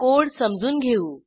code समजून घेऊ